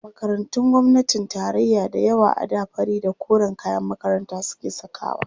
Makarantun gwamnatin tarayya da yawa a da fari da koren kayan makaranta suke sakawa.